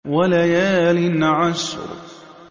وَلَيَالٍ عَشْرٍ